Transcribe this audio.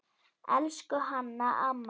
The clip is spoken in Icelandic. Elsku Hanna amma.